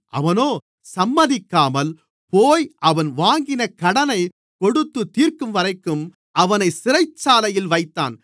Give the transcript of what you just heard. அவனோ சம்மதிக்காமல் போய் அவன் வாங்கின கடனைக் கொடுத்துத்தீர்க்கும்வரைக்கும் அவனைச் சிறைச்சாலையில் வைத்தான்